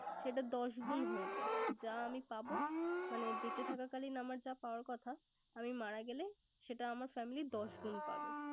সেটা দশ গুন হয়ে যায়। যা আমি পাবো মানে বেঁচে থাকাকালীন আমার যা পাওয়ার কথা আমি মারা গেলে সেটা আমার family দশ গুন পাবে।